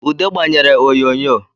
Ude gbanyere oyonyo